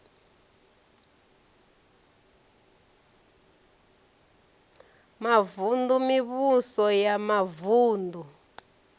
mavun ḓu mivhuso ya mavuṋdu